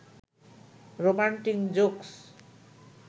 romantic jokes